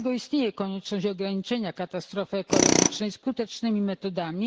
Dlatego istnieje konieczność ograniczenia katastrofy ekologicznej skutecznymi metodami.